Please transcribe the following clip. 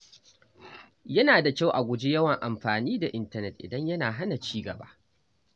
Yana da kyau a guji yawan amfani da intanet idan yana hana ci gaba.